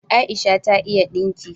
Aisha ta iya dinki